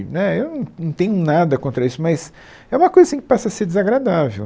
né, eu não tenho nada contra isso, mas é uma coisa assim que passa a ser desagradável.